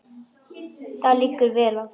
Það liggur vel á þeim.